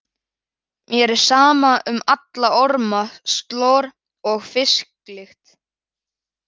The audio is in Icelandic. Mér er sama um alla orma, slor og fisklykt.